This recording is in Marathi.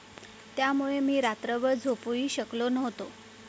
त्यामुळे मी रात्रभर झोपूही शकलो नव्हतो.